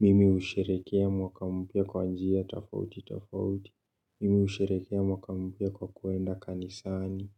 Mimi husherehekea mwaka mpya kwa njia tofauti tofauti, mimi husherehekea mwaka mpya kwa kuenda kanisani,